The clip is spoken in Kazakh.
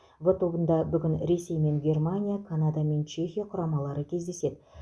в тобында бүгін ресей мен германия канада мен чехия құрамалары кездеседі